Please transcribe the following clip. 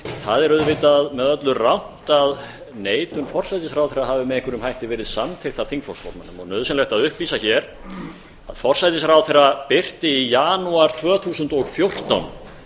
það er auðvitað með öllu rangt að neitun forsætisráðherra hafi með einhverjum hætti verið samþykkt af þingflokksformanninum og nauðsynlegt að upplýsa hér að forsætisráðherra birti í janúar tvö þúsund og fjórtán